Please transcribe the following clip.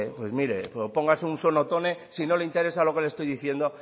pues mire póngase un sonotone y si no le interesa lo que estoy diciendo